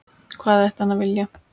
Hvað ætti hann að vilja?